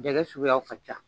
Gɛlɛ suguyaw ka ca.